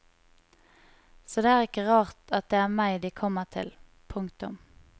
Så det er ikke rart at det er meg de kommer til. punktum